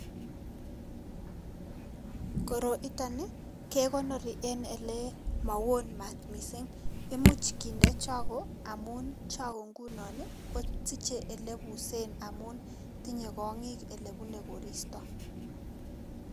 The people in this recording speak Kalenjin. Koroiton ii kekonori en ile mowon maat missing' imuch kinde chogo amun chogo ngunon ii ko siche ilebusen amun tinye kong'ik ilebune koristo.